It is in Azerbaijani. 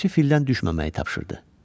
Bələdçi fildən düşməməyi tapşırdı.